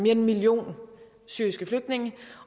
en million syriske flygtninge